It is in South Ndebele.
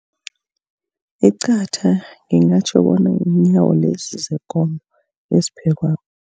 Iqatha ngingatjho bona ziinyawo lezi zekomo eziphekwako.